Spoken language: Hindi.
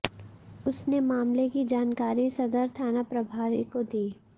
उसने मामले की जानकारी सदर थाना प्रभारी को दी